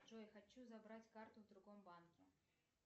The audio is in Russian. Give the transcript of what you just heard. джой хочу забрать карту в другом банке